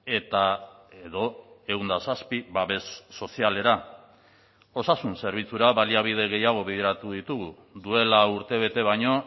eta edo ehun eta zazpi babes sozialera osasun zerbitzura baliabide gehiago bideratu ditugu duela urtebete baino